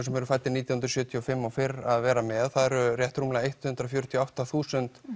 sem eru fæddir nítján hundruð sjötíu og fimm og fyrr að vera með og það eru rétt rúmlega hundrað fjörutíu og átta þúsund